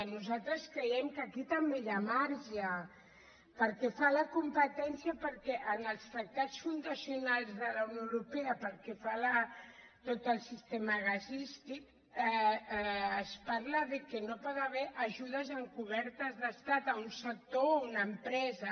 nosaltres creiem que aquí també hi ha marge pel que fa a la competència perquè en els tractats fundacionals de la unió europea pel que fa a tot el sistema gasístic es parla que no hi pot haver ajudes encobertes d’estat a un sector o a una empresa